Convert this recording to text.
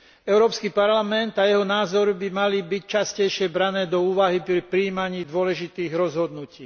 Európsky parlament a jeho názory by mali byť častejšie brané do úvahy pri prijímaní dôležitých rozhodnutí.